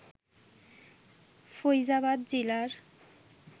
Faizabad জিলার